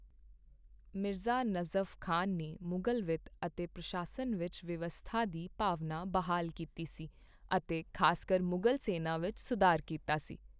ਮਿਰਜ਼ਾ ਨਜ਼ਫ਼ ਖ਼ਾਨ ਨੇ ਮੁਗ਼ਲ ਵਿੱਤ ਅਤੇ ਪ੍ਰਸ਼ਾਸਨ ਵਿੱਚ ਵਿਵਸਥਾ ਦੀ ਭਾਵਨਾ ਬਹਾਲ ਕੀਤੀ ਸੀ ਅਤੇ ਖ਼ਾਸਕਰ ਮੁਗ਼ਲ ਸੈਨਾ ਵਿੱਚ ਸੁਧਾਰ ਕੀਤਾ ਸੀ।